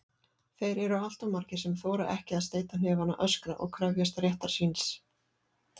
Þeir eru alltof margir sem þora ekki að steyta hnefana, öskra og krefjast réttar síns.